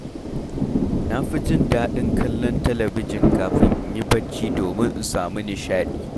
Na fi jin daɗin kallon talabijin kafin in yi barci domin in samu nishaɗi.